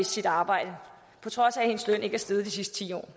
sit arbejde på trods af at hendes løn ikke er steget de sidste ti år